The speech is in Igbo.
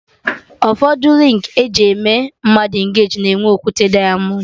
Ụfọdụ rịng eji eme mmadụ engeji na-enwe okwute dịamọnd